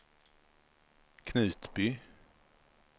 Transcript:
Knutby